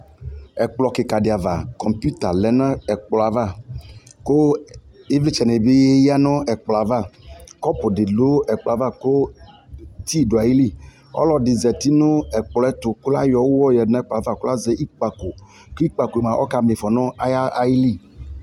ɛkplɔ kikaa di aɣa kɔmpʋta lɛnʋ ɛkplɔɛ aɣa kʋ ivlitsɛ nibi yanʋ ɛkplɔɛ aɣa kɔpʋ di dʋɛkplɔɛ aɣa kʋ tea dʋali, ɔlɔdi zati nʋ ɛkplɔɛ ɛtʋ kʋ layɔ ʋwɔ yadʋ nʋ ɛkplɔɛ aɣa kʋ azɛ ikpakɔ kʋ ikpakɔɛ mʋa ɔka miƒɔ nʋ ayili